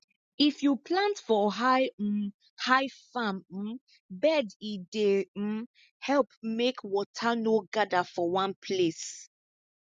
if you plant for high um high farm um bed e dey um help make water no gather for one place